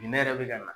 Minɛ yɛrɛ bɛ ka na